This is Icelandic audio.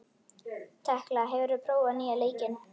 Tekla, hefur þú prófað nýja leikinn?